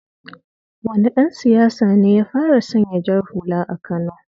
Wane dan siyasa ne ya fara sanya jar hula a kano?